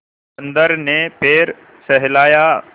बंदर ने पैर सहलाया